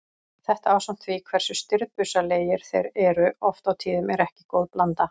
Þetta ásamt því hversu stirðbusalegir þeir eru oft á tíðum er ekki góð blanda.